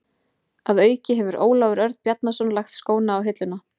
Að auki hefur Ólafur Örn Bjarnason lagt skóna á hilluna.